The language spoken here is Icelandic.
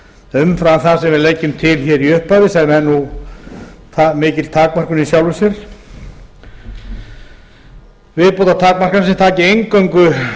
umfram það sem við leggjum til hér í upphafi sem er mikil takmörkun í sjálfu sér viðbótartakmarkanir sem taki eingöngu